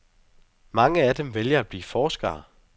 Mange af dem vælger at blive forskere.